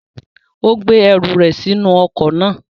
Ó gbé ẹrù rẹ̀ sínú ọkọ̀ náà.